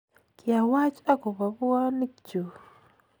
kiawach akopo puonik chuu